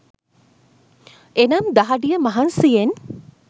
එනම් දහඩිය මහන්සියෙන්